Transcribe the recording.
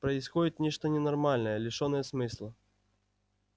происходит нечто ненормальное лишённое смысла